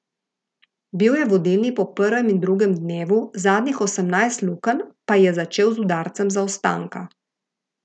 Bil je vodilni po prvem in drugem dnevu, zadnjih osemnajst lukenj pa je začel z udarcem zaostanka.